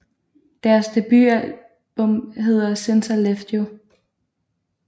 Deres debutalbum hedder Since I Left You